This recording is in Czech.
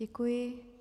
Děkuji.